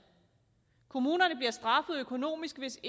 kommunerne bliver straffet økonomisk hvis